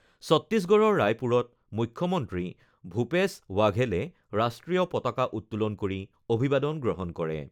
চত্তিশগড়ৰ ৰায়পুৰত মুখ্যমন্ত্ৰী ভূপেশ ৱাঘেলে ৰাষ্ট্ৰীয় পতাকা উত্তোলন কৰি অভিবাদন গ্ৰহণ কৰে।